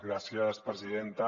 gràcies presidenta